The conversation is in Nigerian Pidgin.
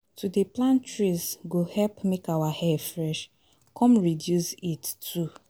To dey plant trees go help make our air fresh, come reduce heat heat too